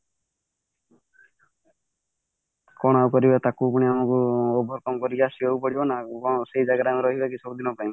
କଣ ଆଉ କରିବା ତାକୁ ପୁଣି ଆମକୁ over come କରିକି ଆସିବାକୁ ପଡିବ ନା କଣ ସେଇ ଜାଗାରେ ଆମେ ରହିବା କି ସବୁଦିନ ପାଇଁ